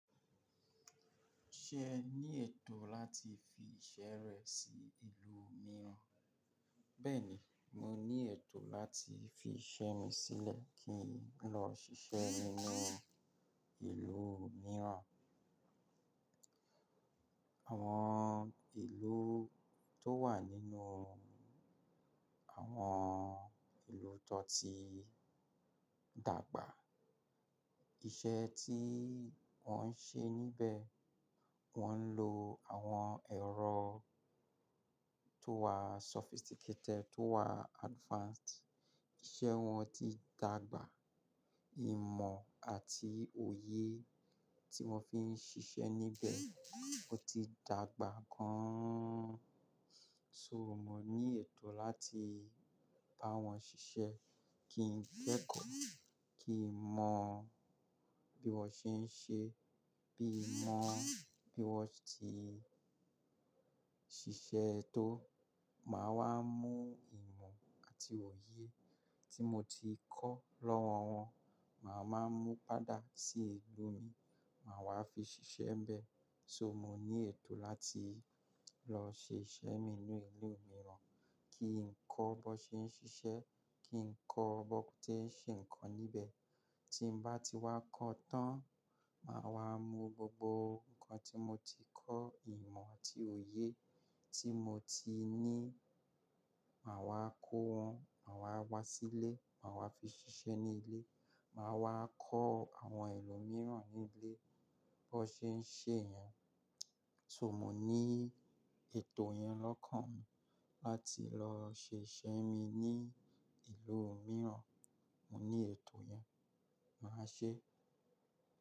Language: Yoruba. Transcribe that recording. Ṣe ẹ ní ètò láti fi iṣẹ́ rẹ sí ìlú mìíràn? Bẹ́ẹ̀ni, mo ní ètò láti fi iṣẹ́ mi sílẹ̀ kí n lọ ṣiṣẹ́ nínú ìlú mìíràn. Àwọn ìlú tó wà nínú àwọn ìlú tó ti dàgbà, iṣẹ́ tí wọ́n ń ṣe níbẹ̀, wọ́n ń lo àwọn ẹ̀rọ tó wà sophisticated, tó wà advanced. Iṣẹ́ wọn ti dàgbà. Ìmọ̀ àti òye tí wọ́n fi ń ṣiṣẹ́ níbẹ̀ ó ti dàgbà gan-an. So mo ní ètò láti bá wọn ṣiṣẹ́, kí n kẹ́kọ̀ọ́, kí n mọ bí wọ́n ṣe ń ṣe, bí mọ bí wọ́n ti ṣiṣẹ́ tó, màá wá mú ìmọ̀ àti òye tí mo ti kọ́ lọ́wọ́ wọn, màá máa mú padà sí ìlú mi, màá wá fi ṣiṣẹ́ níbẹ̀. So mo ní ètò láti lọ ṣe iṣẹ́ mi nínú ìlú mìíràn, kí n kọ́ bí wọ́n ṣe ń ṣiṣẹ́, kí n kọ́ bó tí ń ṣe nǹkan níbẹ̀. Tí mo bá ti wá kọ́ tán, màá wá mú gbogbo nǹkan tí mo ti kọ́, ìmọ̀ àti òye tí mo ti ní, màá wá kó wọn, màá wá wá sílé, màá wá fi ṣiṣẹ́ nílé, màá wá kọ́ àwọn ẹlòmíràn nílé bó ṣe ń ṣe ẹ́ yẹn. So mo ní ètò yẹn lọ́kàn mi láti lọ ṣe iṣẹ́ mi ní ìlú mìíràn. Mo ní ètò yẹn. Màá ṣé.